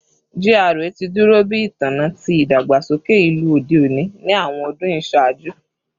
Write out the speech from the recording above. GRA ti duro bi itanna ti idagbasoke ilu ode oni ni awọn ọdun iṣaaju